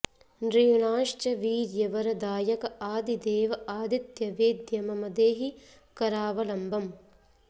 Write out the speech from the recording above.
नॄणांश्च वीर्य वर दायक आदिदेव आदित्य वेद्य मम देहि करावलम्बम्